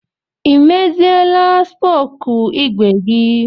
I meziela spoku ígwè gi